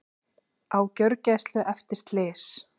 Á gjörgæslu eftir slys